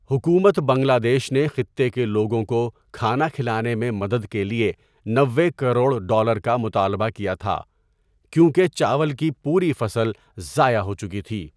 حکومت بنگلہ دیش نے خطے کے لوگوں کو کھانا کھلانے میں مدد کے لیے نوے کروڑ ڈالر کا مطالبہ کیا تھا، کیونکہ چاول کی پوری فصل ضائع ہو چکی تھی۔